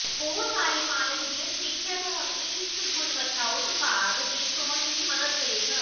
ਬਹੁਤ ਸਾਰੇ ਮਾਲਕ ਦੀ ਸਮੀਖਿਆ ਤੁਹਾਨੂੰ ਇੱਕ ਗੁਣਵੱਤਾ ਉਤਪਾਦ ਦੀ ਚੋਣ ਵਿੱਚ ਮਦਦ ਕਰੇਗਾ